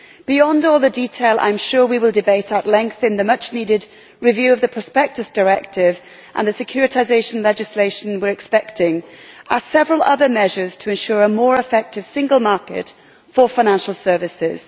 Beyond all the detail which I am sure we will debate at length in the much needed review of the Prospectus Directive and the securitisation legislation we are expecting, are several other measures to ensure a more effective single market for financial services.